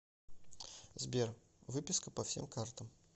сбер выписка по всем картам